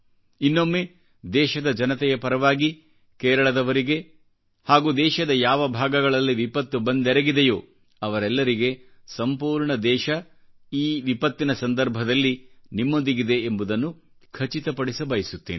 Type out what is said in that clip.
ಇನ್ನೊಮ್ಮೆ ದೇಶದ ಜನತೆಯ ಪರವಾಗಿ ಕೇರಳದವರಿಗೆ ಹಾಗೂ ದೇಶದ ಯಾವ ಭಾಗಗಳಲ್ಲಿ ವಿಪತ್ತು ಬಂದೆರಗಿದೆಯೋಅವರೆಲ್ಲರಿಗೆ ಸಂಪೂರ್ಣ ದೇಶ ಆ ವಿಪತ್ತಿನ ಸಂದರ್ಭದಲ್ಲಿ ನಿಮ್ಮೊಂದಿಗಿದೆ ಎಂಬುದನ್ನು ಖಚಿತಪಡಿಸಬಯಸುತ್ತೇನೆ